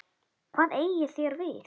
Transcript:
BJÖRN: Hvað eigið þér við?